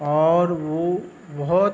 और वो बोहोत --